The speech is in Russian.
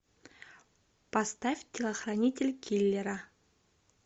поставь телохранитель киллера